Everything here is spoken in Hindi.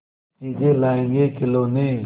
चीजें लाएँगेखिलौने